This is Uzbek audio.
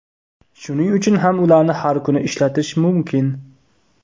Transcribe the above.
Shuning uchun ham ularni har kuni ishlatish mumkin.